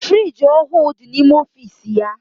Friiji ọhụụ dị n'ime ọfiisi ya.